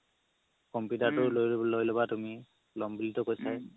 computer তো লই লবা তুমি লম বুলিতো কৈছায়ে